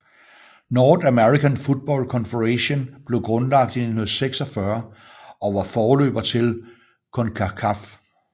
North American Football Confederation blev grundlagt i 1946 og var forløber til CONCACAF